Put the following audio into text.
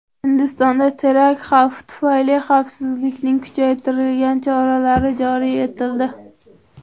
Hindistonda terakt xavfi tufayli xavfsizlikning kuchaytirilgan choralari joriy etildi.